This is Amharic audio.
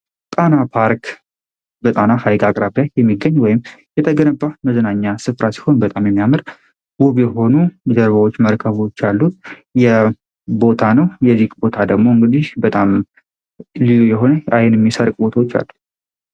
ጣና ፓርክ በጣና ሐይክ አቅራብላክ የሚገኝ ወይም የተገነባ መዝናኛ ስፍራ ሲሆን በጣም የሚያመር ውብ የሆኑ ሊደርባዎች መርከቦች ያሉት የቦታ ነው፡፡ የዚክ ቦታ ደሞ እንግዲህ በጣም ሊሉ የሆነ አይን የሚሰርቅ ቦቶች አሉ፡፡